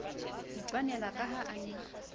itwanela ka ha a ne